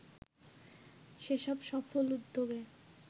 সেসব সফল উদ্যোগে